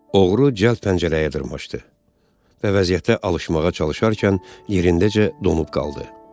Oğru cəld pəncərəyə dırmaşdı və vəziyyətə alışmağa çalışarkən yerindəcə donub qaldı.